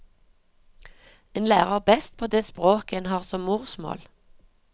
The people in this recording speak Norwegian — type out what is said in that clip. En lærer best på det språket en har som morsmål.